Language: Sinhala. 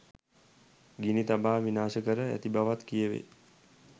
ගිනි තබා විනාශ කර ඇති බවත් කියැවේ.